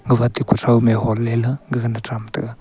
gafa ate kuthow ma hole ley tham taga.